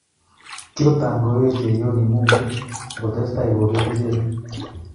Kikotangoe cheiyoni Mungu akotes tai kobeet icheget